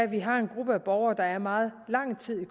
vi har en gruppe af borgere der er meget lang tid i